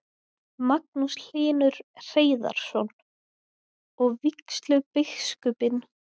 Magnús Hlynur Hreiðarsson: Og vígslubiskupinn sjálfur, lagði hann eitthvað til?